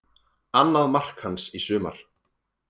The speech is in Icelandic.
Annað mark hans í sumar